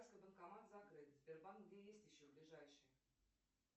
банкомат закрыт сбербанк где есть еще ближайший